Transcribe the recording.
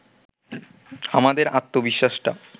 আমাদের আত্মবিশ্বাসটা